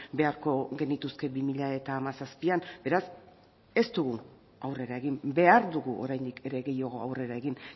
beharko genituzke bi mila hamazazpian beraz ez du aurrera egin behar dugu oraindik ere gehiago aurrera egin